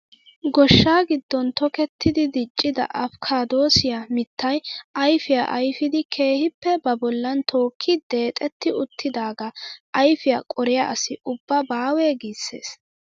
Gooshshaa giddon tokettidi diccida apikaadosiyaa mittay ayfiyaa ayfidi keehippe ba bollan tookki deexetti uttidaagaa ayfiyaa qoriyaa asi ubba baawe giissees!